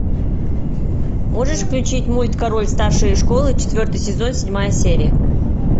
можешь включить мульт король старшей школы четвертый сезон седьмая серия